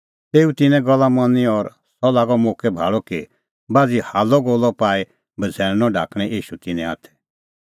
तेऊ तिन्नें गल्ला मनी और सह लागअ मोक्कै भाल़अ कि बाझ़ी हाल्लअगोल्लअ पाई बझ़ैल़णअ ढाकणैं ईशू तिन्नें हाथै